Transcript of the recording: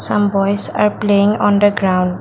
some boys are playing on the ground.